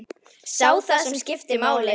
Sá það sem skipti máli.